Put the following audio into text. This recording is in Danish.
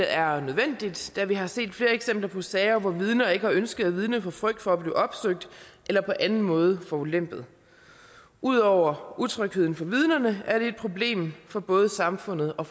er nødvendigt da vi har set flere eksempler på sager hvor vidner ikke har ønsket at vidne af frygt for at blive opsøgt eller på anden måde forulempet ud over utrygheden for vidnerne er det et problem for både samfundet og